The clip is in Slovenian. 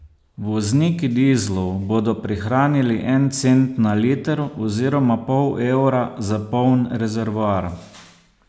Vozniki dizlov bodo prihranili en cent na liter oziroma pol evra za poln rezervoar.